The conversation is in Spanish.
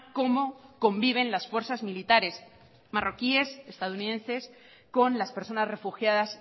cómo conviven las fuerzas militares marroquíes estadounidenses con las personas refugiadas